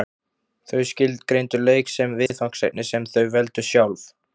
Þau skilgreindu leik sem viðfangsefni sem þau veldu sjálf.